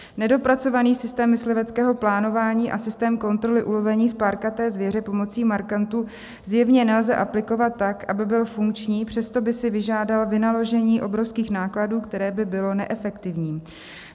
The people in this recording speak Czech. Nedopracovaný systém mysliveckého plánování a systém kontroly ulovení spárkaté zvěře pomocí markantů zjevně nelze aplikovat tak, aby byl funkční, přesto by si vyžádal vynaložení obrovských nákladů, které by bylo neefektivní.